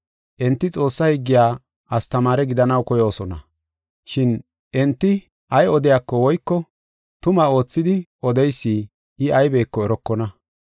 Enti Xoossaa higgiya astamaare gidanaw koyoosona. Shin enti ay odiyako woyko tuma oothidi odeysi I aybeko erokona.